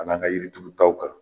Ani an ka yiri turutaw kanu